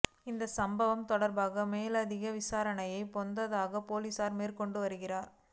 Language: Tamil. இந்த சம்பவம் தொடர்பான மேலதிக விசாரணைகளை பொகவந்தலாவ பொலிஸார் மேற்கொண்டு வருகின்றனர்